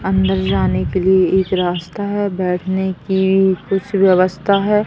अंदर जाने के लिए एक रास्ता है बैठने की कुछ व्यवस्था है।